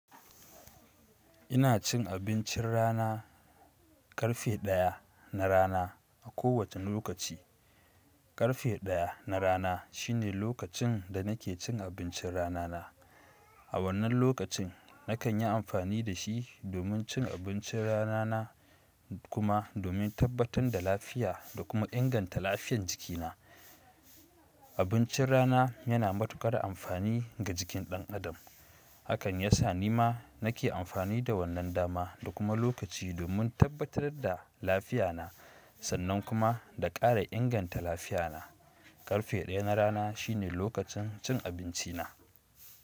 Ina cin abincin rana, karfe 1 na rana a kowace lokaci. Karfe 1 na rana shine lokacin da nake cin abincin rana na. A wannan lokacin, nakan yi amfani da shi domin cin abincin rana na kuma domin tabbatar da lafiya da kuma inganta lafiyar jikina. Abincin rana yana matuƙar amfani ga jikin ɗan adam. Hakan yasa ni ma nake amfani da wannan dama da kuma lokaci domin tabbatar da lafiya na sannan kuma da ƙara inganta lafiya na. Karfe 1 na rana shine lokacin cin abinci na.